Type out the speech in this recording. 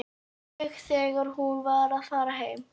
Möggu þegar hún var að fara heim.